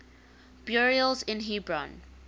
burials in hebron